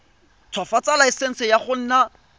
ntshwafatsa laesense ya go nna